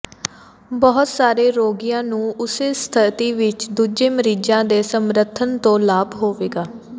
ਬਹੁਤ ਸਾਰੇ ਰੋਗੀਆਂ ਨੂੰ ਉਸੇ ਸਥਿਤੀ ਵਿਚ ਦੂਜੇ ਮਰੀਜ਼ਾਂ ਦੇ ਸਮਰਥਨ ਤੋਂ ਲਾਭ ਹੋਵੇਗਾ